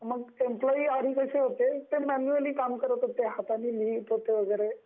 मग आधी कस होत ते म्यानुअलि काम करत होते म्हणजे हाताने लिहित होते वैगेरे